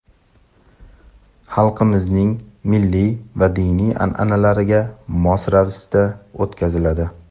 xalqimizning milliy va diniy an’analariga mos ravishda o‘tkaziladi.